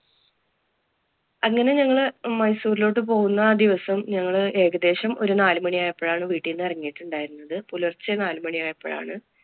അങ്ങനെ ഞങ്ങള് മൈസൂരിലോട്ട് പോകുന്ന ആ ദിവസം ഞങ്ങള് ഏകദേശം ഒരു നാലുമണി ആയപ്പോഴാണ് വീട്ടിന്ന് ഇറങ്ങിയിട്ടുണ്ടയിരുന്നത്. പുലര്‍ച്ചെ നാലുമണിയായപ്പോഴാണ്